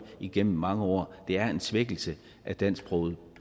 igennem mange år det er en svækkelse af dansksproget